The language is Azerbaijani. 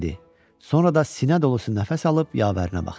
Sonra da sinə dolusu nəfəs alıb yavərinə baxdı.